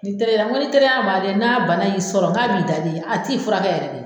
Nin teriya n ko ni teriya bagɛn, n'a bana y'i sɔrɔ n k'a b'i da de, a t'i furakɛ yɛrɛ dɛ